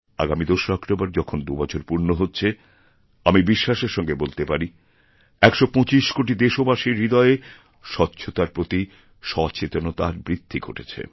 আগামী ২রা অক্টোবর যখন দুবছর পূর্ণ হচ্ছে আমি বিশ্বাসেরসঙ্গে বলতে পারি ১২৫ কোটি দেশবাসীর হৃদয়ে স্বচ্ছতার প্রতি সচেতনতার বৃদ্ধি ঘটেছে